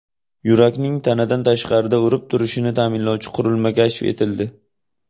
Yurakning tanadan tashqarida urib turishini ta’minlovchi qurilma kashf etildi.